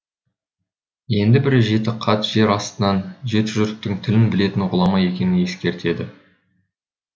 енді бірі жеті қат жер астының жеті жұрттың тілін білетін ғұлама екенін ескертеді